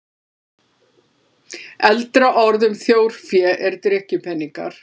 Eldra orð um þjórfé er drykkjupeningar.